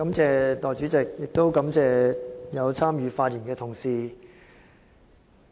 代理主席，我感謝參與發言的同事。